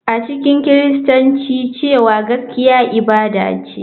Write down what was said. A cikin Kiristanci cewa gaskiya ibada ce,